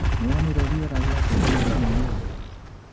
Nĩwonire rĩera rĩa cenjia o rĩmwe ũmũthĩ?